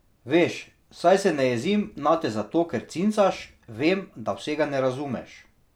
Veš, saj se ne jezim nate zato, ker cincaš, vem, da vsega ne razumeš.